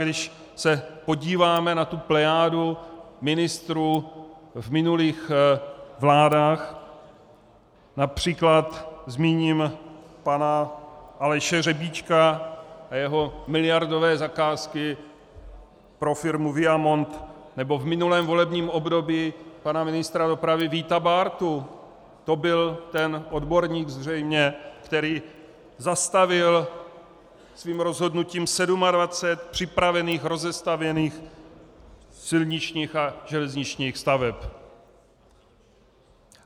Když se podíváme na tu plejádu ministrů v minulých vládách, například zmíním pana Aleše Řebíčka a jeho miliardové zakázky pro firmu Viamont, nebo v minulém volebním období pana ministra dopravy Víta Bártu, to byl ten odborník zřejmě, který zastavil svým rozhodnutím 27 připravených rozestavěných silničních a železničních staveb.